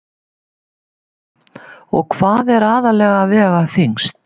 Símon: Og hvað er aðallega að vega þyngst?